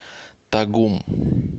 тагум